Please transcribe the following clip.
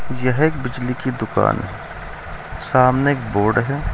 यह एक बिजली की दुकान सामने एक बोर्ड है।